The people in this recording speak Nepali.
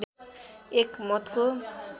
एक मतको